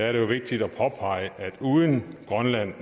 er det vigtigt at påpege at uden